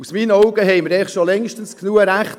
Aus meiner Sicht haben wir längstens genügend Rechte;